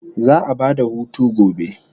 Za'a ba da hutu gobe